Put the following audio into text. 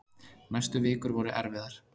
Næstu vikur voru erfiðar.